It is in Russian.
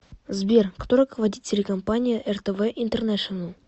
сбер кто руководит телекомпания ртв интернешенел